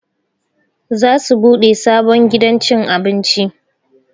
Za su buɗe sabon gidan cin abinci